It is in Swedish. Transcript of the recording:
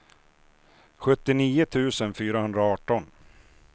sjuttionio tusen fyrahundraarton